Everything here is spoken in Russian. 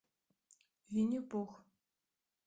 винни пух